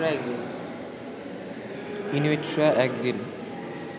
ইনুইটরা একদিন